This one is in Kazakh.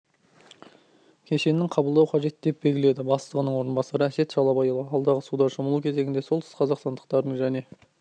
кешеннің қабылдау қажет деп белгіледі бастығының орынбасары әсет шалабайұлы алдағы суда шомылу кезеңінде солтүстік қазақстандықтардың және